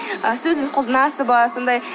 сіз қолданасыз ба сондай